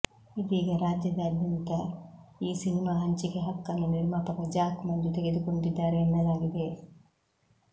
ಇದೀಗ ರಾಜ್ಯಾದ್ಯಂತ ಈ ಸಿನಿಮಾ ಹಂಚಿಕೆ ಹಕ್ಕನ್ನು ನಿರ್ಮಾಪಕ ಜಾಕ್ ಮಂಜು ತೆಗೆದುಕೊಂಡಿದ್ದಾರೆ ಎನ್ನಲಾಗಿದೆ